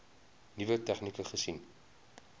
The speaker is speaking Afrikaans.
nuwe tegnieke gesien